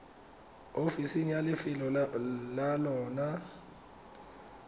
ofiseng ya lefelo la lona